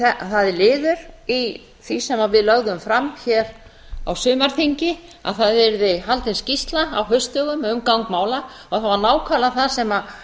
það er liður í því sem við lögðum fram á sumarþingi að haldin yrði skýrsla á haustdögum um gang mála og það var nákvæmlega það sem